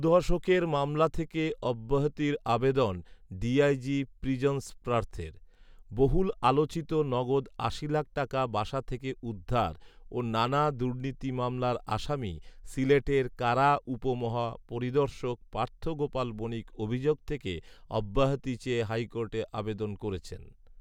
দু দশকের মামলা থেকে অব্যাহতির আবেদন ডিআইজি প্রিজন্স পার্থের। বহুল আলোচিত নগদ আশি লাখ টাকা বাসা থেকে উদ্ধার ও নানা দুর্নীতি মামলার আসামি সিলেটের কারা উপ মহাপরিদর্শক পার্থ গোপাল বণিক অভিযোগ থেকে অব্যাহতি চেয়ে হাইকোর্টে আবেদন করেছেন।